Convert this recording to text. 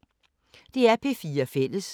DR P4 Fælles